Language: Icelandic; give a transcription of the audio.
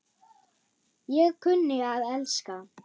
Ég kunni að elska.